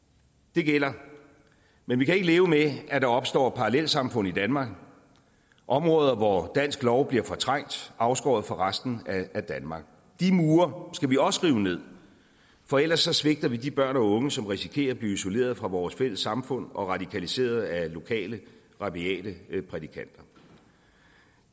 det gælder men vi kan ikke leve med at der opstår parallelsamfund i danmark områder hvor dansk lov blive fortrængt afskåret fra resten af danmark de mure skal vi også rive ned for ellers svigter vi de børn og unge som risikerer at blive isoleret fra vores fælles samfund og radikaliseret af lokale rabiate prædikanter